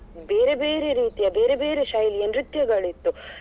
ಬೇರೆ ಬೇರೆ ರೀತಿಯ ಬೇರೆ ಬೇರೆ ಶೈಲಿಯ ನೃತ್ಯಗಳಿತ್ತು.